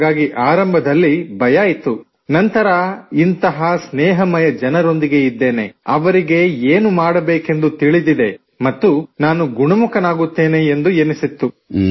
ಹಾಗಾಗಿ ಆರಂಭದಲ್ಲಿ ಭಯ ಇತ್ತು ನಂತರ ಇಂಥ ಸ್ನೇಹಮಯ ಜನರೊಂದಿಗೆ ಇದ್ದೇನೆ ಅವರಿಗೆ ಏನು ಮಾಡಬೇಕೆಂದು ತಿಳಿದಿದೆ ಮತ್ತು ನಾನು ಗುಣಮುಖನಾಗುತ್ತೇನೆ ಎಂದೆನ್ನಿಸಿತ್ತು